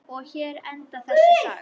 Og hér endar þessi saga.